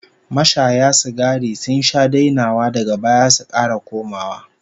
Mashaya sigari sun sha dainawa daga baya su kara komawa